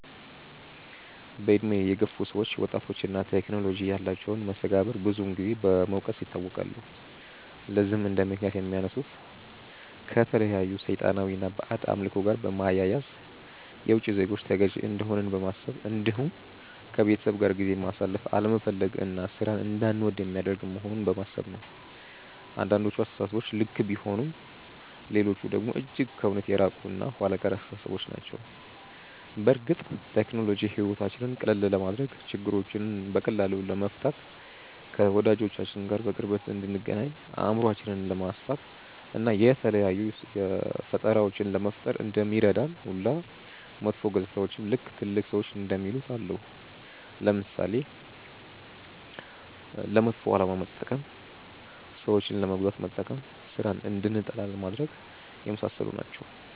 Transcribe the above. በእድሜ የገፉ ሰዎች ወጣቶች እና ቴክኖሎጂ ያላቸውን መስተጋብር ብዙን ጊዜ በመውቀስ ይታወቃሉ። ለዚህም እንደምክንያት የሚያነሱት ከተለያዩ ሰይጣናዊ እና ባዕድ አምልኮ ጋር በማያያዝ፣ የውቺ ዜጎች ተገዢ እንደሆንን በማሰብ እንዲሁም ከቤተሰብ ጋር ጊዜ ማሳለፍ አለመፈለግ እና ሥራን እንዳንወድ የሚያደርግ መሆኑን በማሰብ ነው። አንዳንዶቹ አስተሳሰቦች ልክ ቢሆኑም ሌሎቹ ደግሞ እጅግ ከእውነት የራቁ እና ኋላ ቀር አስተሳሰቦች ናቸው። በእርግጥ ቴክኖሎጂ ሕይወታችንን ቀላል ለማድረግ፣ ችግሮችን በቀላሉ ለመፍታት፣ ከወዳጆቻችን ጋር በቅርበት እንድንገናኝ፣ አእምሯችንን ለማስፋት፣ እና የተለያዩ ፈጠራዎችን ለመፍጠር እንደሚረዳን ሁሉ መጥፎ ገፅታዎችም ልክ ትልልቅ ሰዎች እንደሚሉት አለው። ለምሳሌ፦ ለመጥፎ አላማ መጠቀም፣ ሰዎችን ለመጉዳት መጠቀም፣ ስራን እንድንጠላ ማድረግ፣ የመሳሰሉት ናቸው።